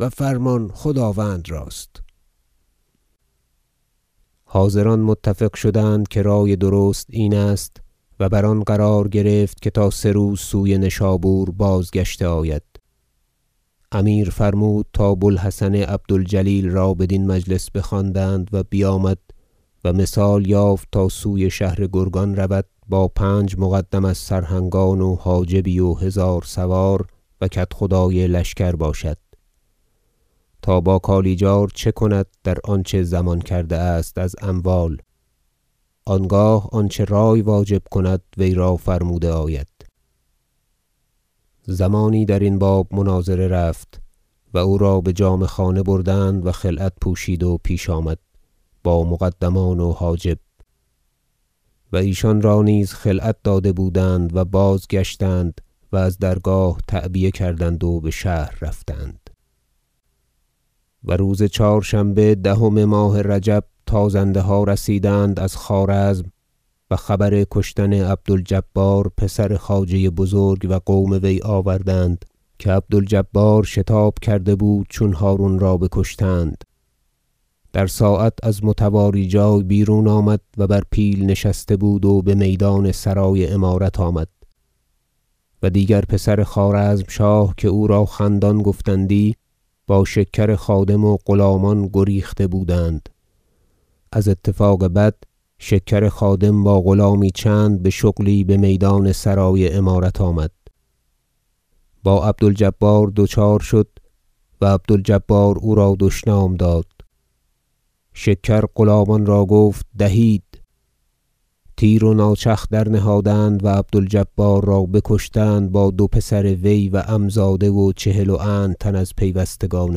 و فرمان خداوند راست حاضران متفق شدند که رای درست این است و بر آن قرار گرفت که تا سه روز سوی نشابور بازگشته آید امیر فرمود تا بوالحسن عبد الجلیل را بدین مجلس بخواندند و بیامد و مثال یافت تا سوی شهر گرگان رود با پنج مقدم از سرهنگان و حاجبی و هزار سوار و کدخدای لشکر باشد تا با کالیجار چه کند در آنچه ضمان کرده است از اموال آنگاه آنچه رای واجب کند وی را فرموده آید زمانی درین باب مناظره رفت و او را بجامه خانه بردند و خلعت پوشید و پیش آمد با مقدمان و حاجب و ایشان را نیز خلعت داده بودند و بازگشتند و از درگاه تعبیه کردند و بشهر رفتند و روز چهارشنبه دهم ماه رجب تا زنده ها رسیدند از خوارزم و خبر کشتن عبد الجبار پسر خواجه بزرگ و قوم وی آوردند که عبد الجبار شتاب کرده بود چون هرون را بکشتند در ساعت از متواری جای بیرون آمد و بر پیل نشسته بود و بمیدان سرای امارت آمد و دیگر پسر خوارزمشاه که او را خندان گفتندی با شکر خادم و غلامان گریخته بودند از اتفاق بد شکر خادم با غلامی چند بشغلی بمیدان سرای امارت آمد با عبد الجبار دچار شد و عبد الجبار او را دشنام داد شکر غلامان را گفت دهید تیر و ناچخ درنهادند و عبد الجبار را بکشتند با دو پسر وی و عم زاده و چهل و اند تن از پیوستگان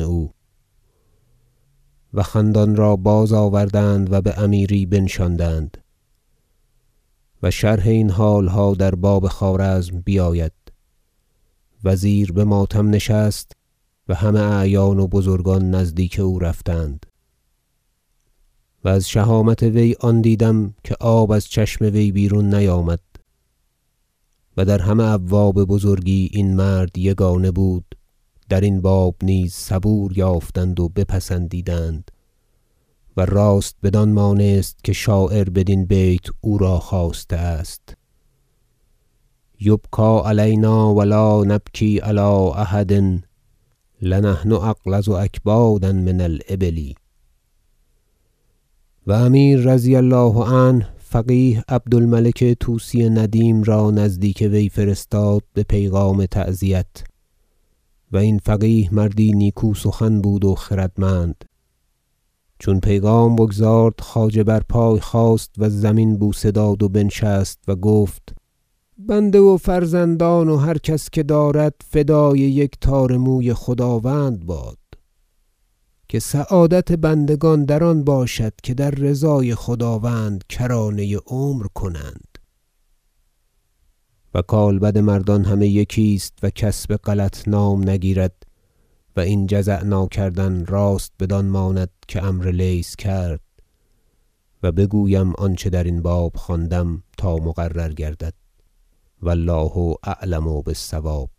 او و خندان را بازآوردند بامیری بنشاندند- و شرح این حالها در باب خوارزم بیاید- وزیر بماتم نشست و همه اعیان و بزرگان نزدیک او رفتند و از شهامت وی آن دیدم که آب از چشم وی بیرون نیامد و در همه ابواب بزرگی این مرد یگانه بود درین باب نیز صبور یافتند و بپسندیدند و راست بدان مانست که شاعر بدین بیت او را خواسته است شعر یبکی علینا و لا نبکی علی احد لنحن اغلظ اکبادا من الابل و امیر رضی الله عنه فقیه عبد الملک طوسی ندیم را نزدیک وی فرستاد به پیغام تعزیت و این فقیه مردی نیکوسخن بود و خردمند چون پیغام بگزارد خواجه بر پای خاست و زمین بوسه داد و بنشست و گفت بنده و فرزندان و هر کس که دارد فدای یک تار موی خداوند باد که سعادت بندگان آن باشد که در رضای خداوند کرانه عمر کنند و کالبد مردان همه یکی است و کس بغلط نام نگیرد و این جزع ناکردن راست بدان ماند که عمرو لیث کرد و بگویم آنچه درین باب خواندم تا مقرر گردد و الله اعلم بالصواب